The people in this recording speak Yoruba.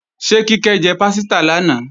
Ṣé Kíkẹ́ jẹ pásítà lánàá?